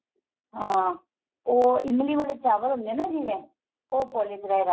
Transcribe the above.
ਹਾਂ ਉਹ ਇਮਲੀ ਵਾਲੇ ਚਾਵਲ ਹੁੰਦੇ ਏ ਨਾ ਜਿਵੇਂ ਉਹ rice